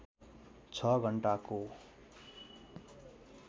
६ घण्टाको